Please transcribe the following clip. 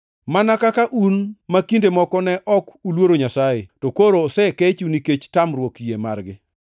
Mana kaka un ma kinde moko ne ok uluoro Nyasaye, to koro osekechu nikech tamruok yie margi,